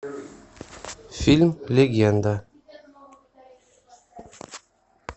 фильм легенда